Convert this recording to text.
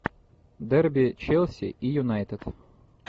дерби челси и юнайтед